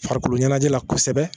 Farikolo ɲɛnajɛ la kosɛbɛ